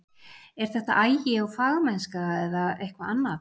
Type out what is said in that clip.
Er þetta agi og fagmennska eða eitthvað annað?